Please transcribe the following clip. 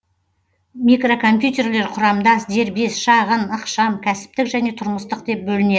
микрокомпьютерлер құрамдас дербес шағын ықшам кәсіптік және тұрмыстық деп бөлінеді